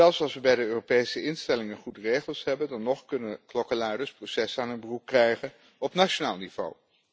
Zelfs als we bij de Europese instellingen goede regels hebben, dan nog kunnen klokkenluiders een proces aan hun broek krijgen op nationaal niveau.